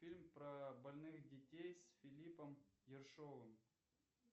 фильм про больных детей с филиппом ершовым